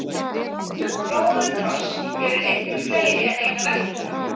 róðukross hefur einnig fleiri en eina merkingu